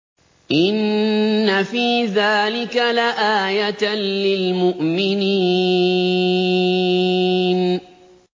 إِنَّ فِي ذَٰلِكَ لَآيَةً لِّلْمُؤْمِنِينَ